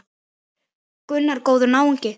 Gunnar: Góður náungi?